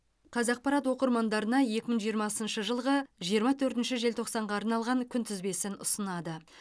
қазақпарат оқырмандарына екі мың жиырмасыншы жылғы жиырма төртінші желтоқсанға арналған күнтізбесін ұсынады